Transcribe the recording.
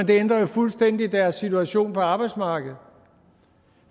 det ændrer jo fuldstændig deres situation på arbejdsmarkedet